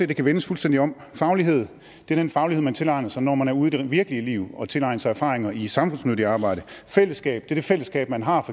det kan vendes fuldstændig om faglighed er den faglighed man tilegner sig når man er ude i det virkelige liv og tilegner sig erfaring i samfundsnyttigt arbejde fællesskab er det fællesskab man har